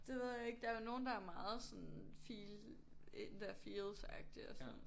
Det ved jeg ikke der jo nogen er er meget sådan feel in their feels agtig og sådan